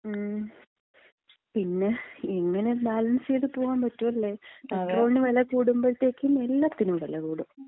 മ്...പിന്നെ എങ്ങനെ ബാലൻസ് ചെയ്ത് പോവാമ്പറ്റും. അല്ലേ? പെട്രോളിന് വില കൂടുമ്പഴത്തേക്കും എല്ലാത്തിനും വെല കൂടും.